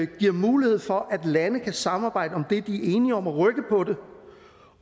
giver mulighed for at lande kan samarbejde om det de er enige om og rykke på det